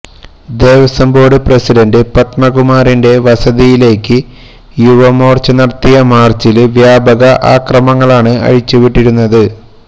Devaswom board president പദ്മകുമാറിന്റെ വസതിയിലേയ്ക്ക് യുവമോര്ച്ച നടത്തിയ മാര്ച്ചില് വ്യാപക അക്രമമാണ് അഴിച്ചുവിട്ടിരുന്നത്